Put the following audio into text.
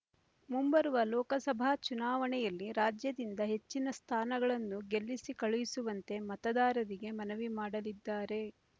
ಮುಂಬರುವ ಲೋಕಸಭಾ ಚುನಾವಣೆಯಲ್ಲಿ ರಾಜ್ಯದಿಂದ ಹೆಚ್ಚಿನ ಸ್ಥಾನಗಳನ್ನು ಗೆಲ್ಲಿಸಿ ಕಳುಹಿಸುವಂತೆ ಮತದಾರರಿಗೆ ಮನವಿ ಮಾಡಲಿದ್ದಾರೆ